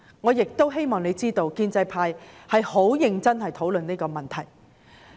我希望政府知道，建制派是很認真地討論這個問題。